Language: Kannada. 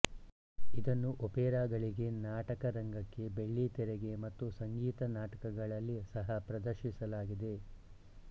ಇದನ್ನು ಒಪೇರಾಗಳಿಗೆ ನಾಟಕರಂಗಕ್ಕೆ ಬೆಳ್ಳಿತೆರೆಗೆ ಮತ್ತು ಸಂಗೀತ ನಾಟಕಗಳಲ್ಲಿ ಸಹಾ ಪ್ರದರ್ಶಿಸಲಾಗಿದೆ